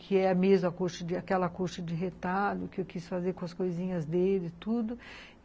Que é a mesma coxa, aquela coxa de retalho que eu quis fazer com as coisinhas dele e tudo.